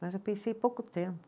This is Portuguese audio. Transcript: Mas eu pensei pouco tempo.